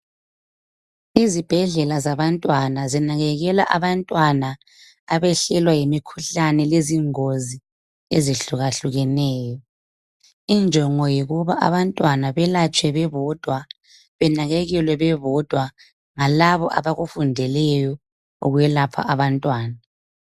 Izibhedlela zabantwana zinakekela abantwana abehlelwa yimikhuhlane lezingozi ezihlukahlukeneyo. Injongo yikuba abantwana belatshwe bebodwa, benakekelwe bebodwa ngalabo abakufundeleyo ukwelapha abantwana.